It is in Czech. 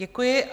Děkuji.